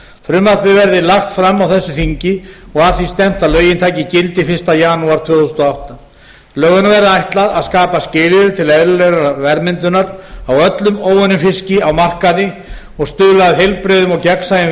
frumvarpið verði lagt fram á þessu þingi og að því stefnt að lögin taki gildi fyrsta janúar tvö þúsund og átta lögunum verði ætlað að skapa skilyrði til eðlilegrar verðmyndunar á öllum óunnum fiski á markaði og stuðla að heilbrigðum og gegnsæjum